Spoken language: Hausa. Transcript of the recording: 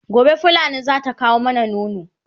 gobe fulani zata kawo mana nono